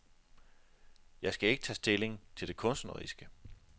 Jeg skal ikke tage stilling til det kunstneriske.